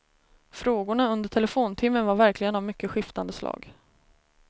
Frågorna under telefontimmen var verkligen av mycket skiftande slag.